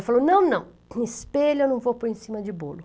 Ela falou, não, não, um espelho eu não vou pôr em cima de bolo.